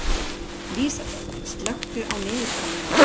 Lísabet, slökktu á niðurteljaranum.